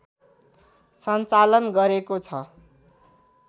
सञ्चालन गरेको छ